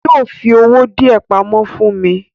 Yóò fi owó díẹ̀ pamọ́ fún mi.